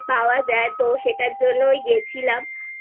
পাওয়া যায় তো সেটার জন্য ওই গেছিলাম